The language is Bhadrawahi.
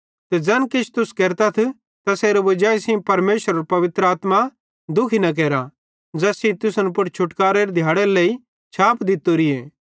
ते ज़ैन किछ तुस केरथ तैसेरे वजाई सेइं परमेशरेरे पवित्र आत्मा दुखी न केरा ज़ैस सेइं तुसन पुड़ छुटकारेरे दिहाड़रे लेइ छाप दित्तोरीए